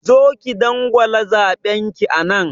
Zo ki dangwala zaɓen ki anan!